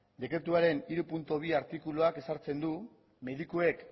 dekretuaren hiru puntu bi artikuluak ezartzen du medikuek